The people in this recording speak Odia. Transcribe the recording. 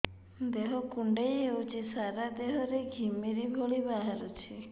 ଦେହ କୁଣ୍ଡେଇ ହେଉଛି ସାରା ଦେହ ରେ ଘିମିରି ଭଳି ବାହାରୁଛି